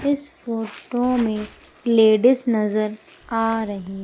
इस फोटो में लेडिस नजर आ रही--